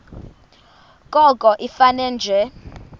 koko ifane nje